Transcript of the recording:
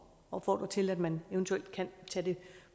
opfordre til at man eventuelt kan tage det